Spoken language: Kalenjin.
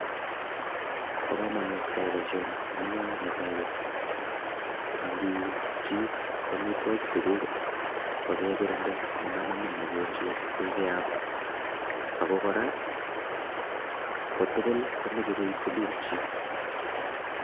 Bo kamanut keyai boisioni amune, ko netai koni, angiuun chi amitwokik chekuk kokekirinde komanamin mogonjwet koi keam ako kora, ko tugul komeche koi itilil chii.